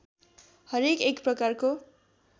हरेक एक प्रकारको